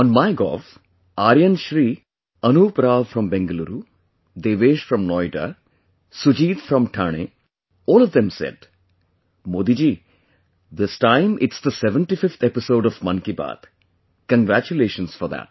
On MyGov, Aryan Shri Anup Rao from Bengaluru, Devesh from Noida, Sujeet from Thane all of them said Modi ji, this time, it's the 75th episode of Mann ki Baat; congratulations for that